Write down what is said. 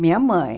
Minha mãe.